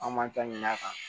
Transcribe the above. An b'an ta ɲin'a kan